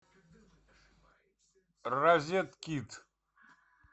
розеткид